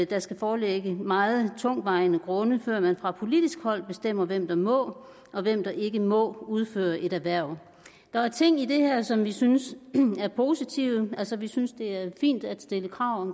der skal foreligge meget tungtvejende grunde før man fra politisk hold bestemmer hvem der må og hvem der ikke må udføre et erhverv der er ting i det her som vi synes er positive altså vi synes det er fint at stille krav